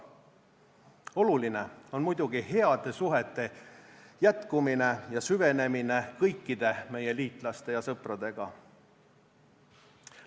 Oluline on muidugi heade suhete jätkumine ja süvenemine kõikide meie liitlaste ja sõpradega.